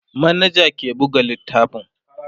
manaja ke buga littafi